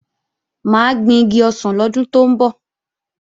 Mà á gbin igi ọsàn lọ́dún tó ń bọ̀